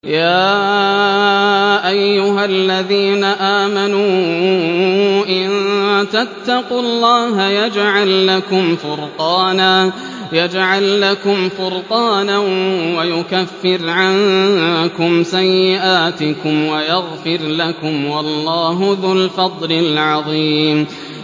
يَا أَيُّهَا الَّذِينَ آمَنُوا إِن تَتَّقُوا اللَّهَ يَجْعَل لَّكُمْ فُرْقَانًا وَيُكَفِّرْ عَنكُمْ سَيِّئَاتِكُمْ وَيَغْفِرْ لَكُمْ ۗ وَاللَّهُ ذُو الْفَضْلِ الْعَظِيمِ